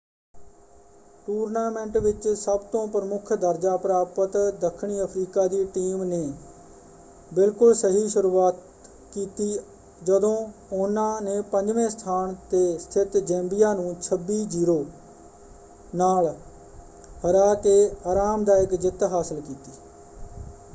Tournament ਵਿੱਚ ਸਭ ਤੋਂ ਪ੍ਰਮੁੱਖ ਦਰਜਾ ਪ੍ਰਾਪਤ ਦੱਖਣੀ ਅਫ਼ਰੀਕਾ ਦੀ ਟੀਮ ਨੇ ਬਿਲਕੁਲ ਸਹੀ ਸ਼ੁਰੂਆਤ ਕੀਤੀ ਜਦੋਂ ਉਹਨਾਂ ਨੇ 5ਵੇਂ ਸਥਾਨ ‘ਤੇ ਸਥਿਤ ਜੈਂਬੀਆਂ ਨੂੰ 26-00 ਨਾਲ ਹਰਾ ਕੇ ਆਰਾਮਦਾਇਕ ਜਿੱਤ ਹਾਸਲ ਕੀਤੀ।